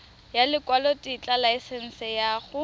ya lekwalotetla laesense ya go